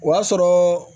O y'a sɔrɔ